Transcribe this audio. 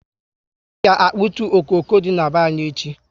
I ga akputu okooko dị na be anyị echi